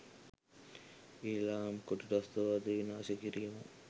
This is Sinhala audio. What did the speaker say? ඊලාම් කොටි ත්‍රස්තවාදය විනාශ කිරීම